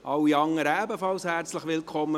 Alle anderen sind ebenfalls herzlich willkommen.